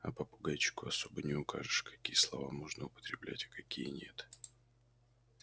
а попугайчику особо не укажешь какие слова можно употреблять а какие нет